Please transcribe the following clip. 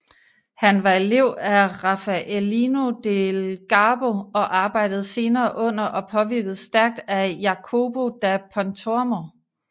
Han var elev af Raffaellino del Garbo og arbejdede senere under og påvirkedes stærkt af Jacopo da Pontormo